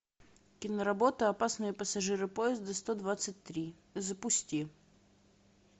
киноработа опасные пассажиры поезда сто двадцать три запусти